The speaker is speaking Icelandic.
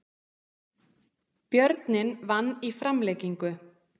Björninn vann í framlengingu